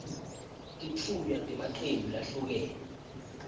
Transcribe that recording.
titfunywa temacembu lahlukene